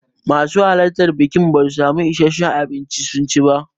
Masu halartan bikin basu samu issashen abinci sun ci ba.